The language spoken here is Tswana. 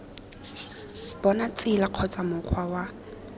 bona tsela kgotsa mokgwa wa